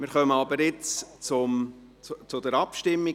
Jetzt kommen wir aber zur Abstimmung.